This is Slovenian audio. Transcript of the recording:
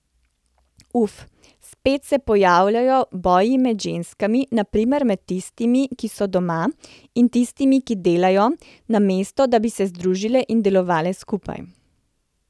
Uf, spet se pojavljajo boji med ženskami, na primer med tistimi, ki so doma, in tistimi, ki delajo, namesto da bi se združile in delovale skupaj.